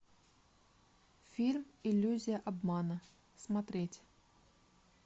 фильм иллюзия обмана смотреть